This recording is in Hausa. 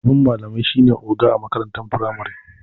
Shugaban malamai shine oga a makarantar firamari.